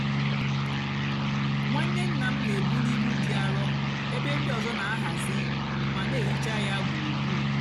nwánné nná m nà-èbuli íbú dị árọ ébé ndị ọzọ nà-àhazi mà nà-èhicha yá gburugburu.